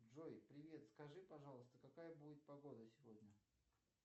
джой привет скажи пожалуйста какая будет погода сегодня